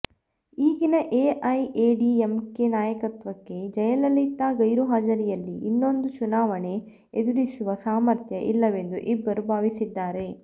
ಈಗಿನ ಎಐಎಡಿಎಂಕೆ ನಾಯಕತ್ವಕ್ಕೆ ಜಯಲಲಿತಾ ಗೈರುಹಾಜರಿಯಲ್ಲಿ ಇನ್ನೊಂದು ಚುನಾವಣೆ ಎದುರಿಸುವ ಸಾಮರ್ಥ್ಯ ಇಲ್ಲವೆಂದು ಇಬ್ಬರೂ ಭಾವಿಸಿದ್ದಾರೆ